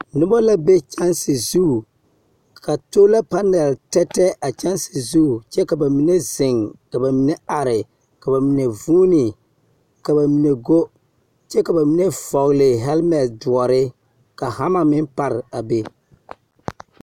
Nobɔ la be kyɛnse zu. Ka tolapanɛl tɛtɛ a kyɛnse zu, kyɛ ka ba mine zeŋ ka ba mine are, ka ba mine vunni, ka ba mine go, kyɛ ka ba mine vɔgele hɛlmɛl doɔre. Ka hama meŋ par a be.